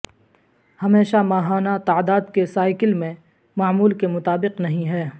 ہمیشہ ماہانہ تعداد کے سائیکل میں معمول کے مطابق نہیں ہے